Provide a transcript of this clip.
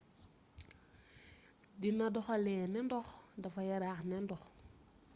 dina doxalee ne ndox dafa yaraax ne ndox